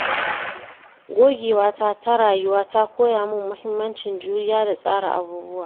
Gogewata ta rayuwa ta koya min muhimmancin juriya da tsara abubuwa.